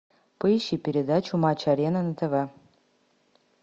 поищи передачу матч арена на тв